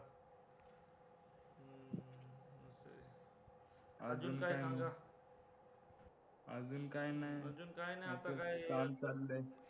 अजून काय नी काम चाललंय